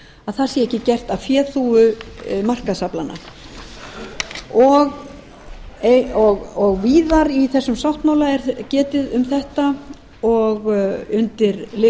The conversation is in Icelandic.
og trúgirni að það sé ekki gert að féþúfu markaðsaflanna og víðar í þessum sáttmála er getið um þetta og undir